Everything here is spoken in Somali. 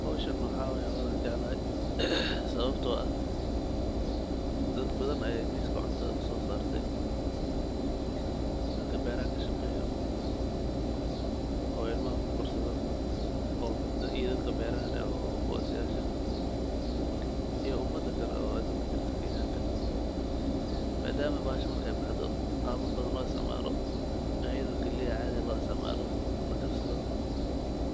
Howshan waxaa waay howl aan jaclahay. Sababtoo ah dad badan ayaay miiska cuntada u soo saartay. Dadka beeraha kashaqeeyo oo ilmaha ku korsado oo ii dadka beeraha leh oo booosayaasha iyo umda kale oo aduunka joogta keenyanka. Maadaam bahashan marka ay baxdo qaabo badan loo istacmaalo, ayidoo gelay ah caadi loo istacmaalo, lakarsado,